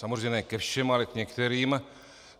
Samozřejmě ne ke všem, ale k některým.